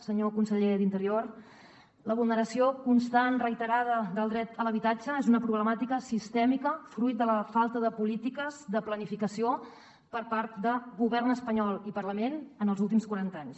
senyor conseller d’interior la vulneració constant reiterada del dret a l’habitatge és una problemàtica sistèmica fruit de la falta de polítiques de planificació per part de govern espanyol i parlament en els últims quaranta anys